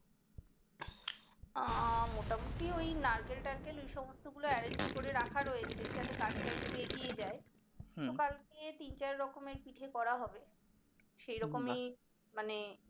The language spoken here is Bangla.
আহ মোটামোটি ওই নারকেল টারকেল ওই সমস্ত গুলো arrange করে রাখা হয়েছে যাতে কাজ টা একটু এগিয়ে যায় তো কালকে তিন চার রকমের পিঠে করা হবে সেরকমই মানে